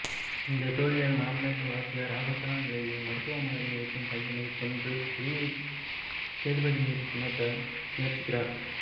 இந்தத் தோல்வியால் மனமொடிந்த வாத்தியார் ஆபத்தான நிலையில் மருத்துவமனையில் இருக்கும் பையனைக் கொன்று பழியை சேதுபதி மீது சுமத்தத் முயற்சிக்கிறார்